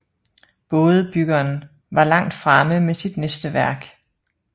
Bådebyggeren var langt fremme med sit næste værk